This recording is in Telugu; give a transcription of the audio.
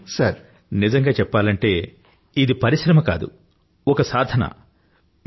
రిపూ గారూ ఇది పరిశ్రమ కాదు ఒక సాధన